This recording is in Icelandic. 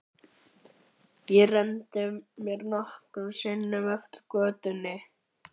Ég renndi mér nokkrum sinnum eftir götunni.